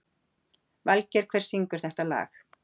Valgeir, hver syngur þetta lag?